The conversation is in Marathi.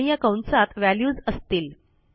आणि या कंसात व्हॅल्यूज असतील